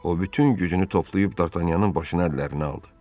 O bütün gücünü toplayıb Dartanyanın başını əllərinə aldı.